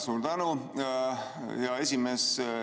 Suur tänu, hea esimees!